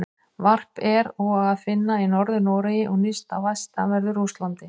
Varp er og að finna í Norður-Noregi og nyrst á vestanverðu Rússlandi.